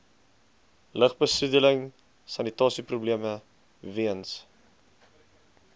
lugbesoedeling sanitasieprobleme weens